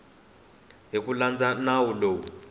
hi ku landza nawu lowu